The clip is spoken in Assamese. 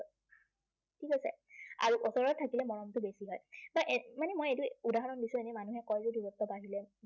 ঠিক আছে। আৰু ওচৰত থাকিলে মৰমটো বেছি হয়। বা এৰ মানে মই এইটো উদাহৰণ দিছো, এনেই মানুহে কয় যে দূৰত্ব বাঢ়িলে